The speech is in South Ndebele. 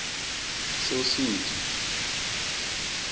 sosuthu